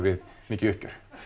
mikið uppgjör